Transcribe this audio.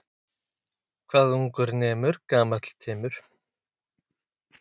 Serbneskir hermenn á leið á vígvöllinn.